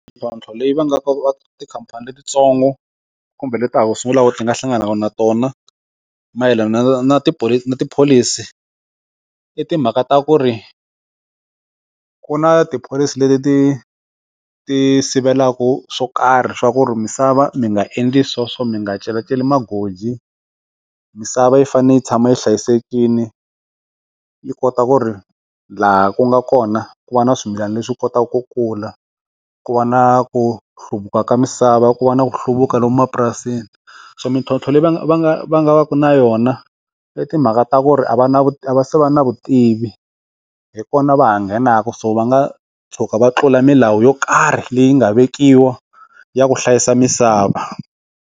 Mintlhotlho leyi va nga tikhampani letitsongo kumbe le ta ha ku sungulaka ti nga hlanganaka na tona mayelana na tipholisi tipholisi i timhaka ta ku ri ku na tipholisi leti ti ti sivelaka swo karhi swa ku ri misava mi nga endli sweswo mi nga celaceli magoji, misava yi fanele yi tshama yi hlayisekile yi kota ku ri laha ku nga kona ku va na swimilana leswi kotaka ku kula ku va na ku hluvuka ka misava ku va na hluvuka lomu mapurasini xa mintlhlontlho leyi va va nga va nga va na yona le timhaka ta ku ri a va na ku va se va na vutivi hi kona va nghenaka so va nga tshuka va tlula milawu yo karhi leyi nga vekiwa ya ku hlayisa misava.